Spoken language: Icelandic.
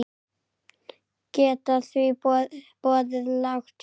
Geta því boðið lágt verð.